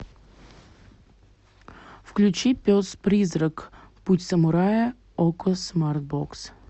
включи пес призрак путь самурая окко смарт бокс